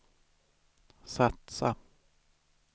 satsa